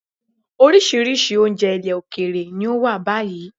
Oríṣiríṣi oúnjẹ ilẹ̀ òkèèrè ni ó wà báyìí.